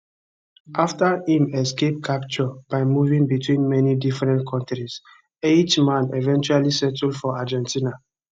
afta im escape capture by moving between many different kontris eichmann eventually settle for argentina